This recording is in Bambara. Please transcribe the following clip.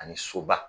Ani soba